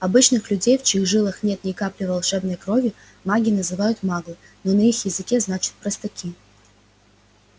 обычных людей в чьих жилах нет ни капли волшебной крови маги называют маглы на их языке значит простаки